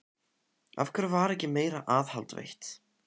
Af hverju var ekki meira aðhald veitt?